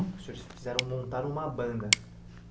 O senhor fizeram montaram uma banda.